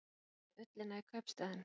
Með ullina í kaupstaðinn